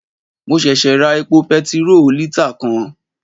Mo sèsè ra epo petiró lítà kan